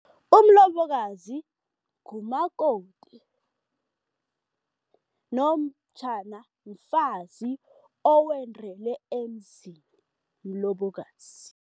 Umlobokazi ngumakoti nomtjhana mfazi owendele emzini, mlobokazi.